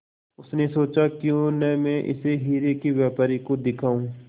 उसने सोचा क्यों न मैं इसे हीरे के व्यापारी को दिखाऊं